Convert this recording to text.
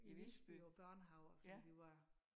I Visby på børnehave og så vi var